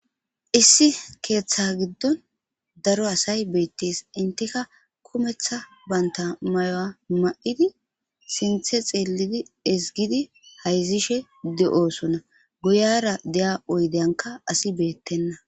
issi keeththa giddon daro asay beettees. enttika kumetha banta mayo ma'idi sinththe xeelidi esgidi hayzishe de'osona. guyara de7a oydeyankka asi beettenna.